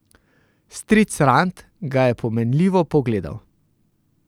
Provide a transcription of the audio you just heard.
Stric Rand ga je Pomenljivo pogledal.